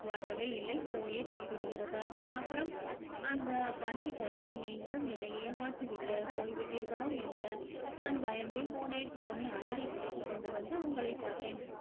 வரவே இல்லை போயே போய்விடுகிறது அப்புறம் அந்த வண்டைப் போலவே நீங்களும் என்னை ஏமாற்றி விட்டு போய்விட்டீர்களோ என்று நான் பயந்தே போனேன் உடனே அலறி கொண்டு வந்து உங்களைப் பார்த்தேன்